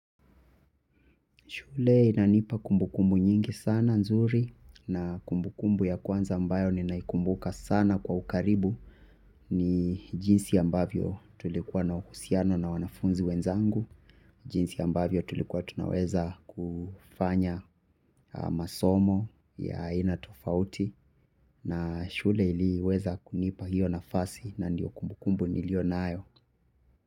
Shule inanipa kumbukumbu nyingi sana nzuri na kumbukumbu ya kwanza ambayo ninaikumbuka sana kwa ukaribu ni jinsi ambavyo tulikuwa na uhusiano na wanafunzi wenzangu. Jinsi ambavyo tulikuwa tunaweza kufanya masomo ya aina tofauti na shule iliweza kunipa hiyo nafasi na ndiyo kumbukumbu niliyo nayo.